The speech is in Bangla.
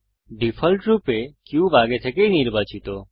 ডিফল্টরূপে কিউব আগে থেকেই নির্বাচিত